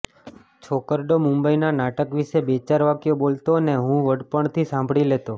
છોકરડો મુંબઈનાં નાટક વિશે બેચાર વાક્યો બોલતો ને હું વડપણથી સાંભળી લેતો